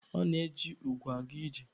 O na-eji ugwu aga ije.